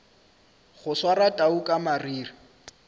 go swara tau ka mariri